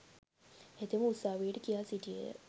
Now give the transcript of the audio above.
හෙතෙම උසාවියට කියා සිටියේය.